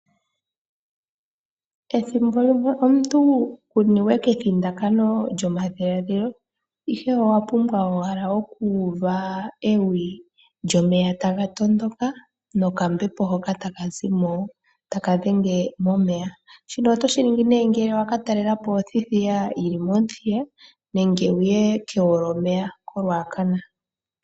Ethimbo limwe omuntu ku niwe kethindakano lyomadhiladhilo ihe owa pumbwa owala okuuva ewi lyomeya taga tondoka nokambepo hoka taka zimo taka dhenge momeya. Shino oto shiningi nee ngele wa katalelapo othithiya yili mOmuthiya nenge wuye kegwolyomeya koRuacana.